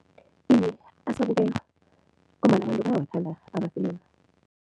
Iye, asabukelwa ngombana abantu bayawathanda amafilimu.